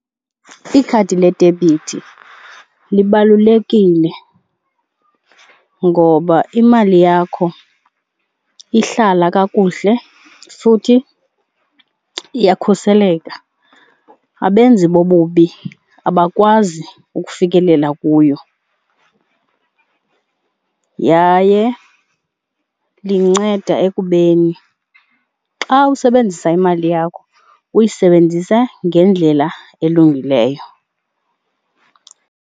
Ikhadi ledebhithi libalulekile ngoba imali yakho ihlala kakuhle futhi iyakhuseleka, abenzi bobubi abakwazi ukufikelela kuyo. Yaye linceda ekubeni xa usebenzisa imali yakho uyisebenzise ngendlela elungileyo.